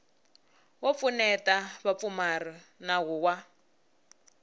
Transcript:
wo pfuneta vapfumari nawu wa